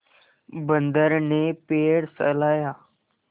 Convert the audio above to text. बंदर ने पैर सहलाया